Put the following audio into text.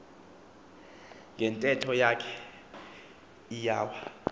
ngentetho yakhe iwya